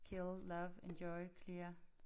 Kill love enjoy clear